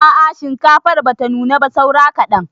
A'a shinkafar bata nuna ba saura kaɗan.